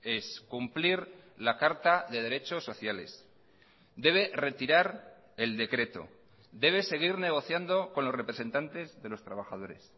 es cumplir la carta de derechos sociales debe retirar el decreto debe seguir negociando con los representantes de los trabajadores